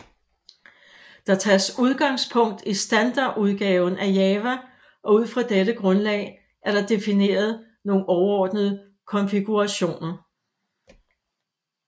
Der tages udgangspunkt i standardudgaven af java og ud fra dette grundlag er der defineret nogle overordnede konfigurationer